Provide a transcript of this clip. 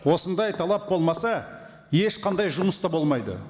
осындай талап болмаса ешқандай жұмыс та болмайды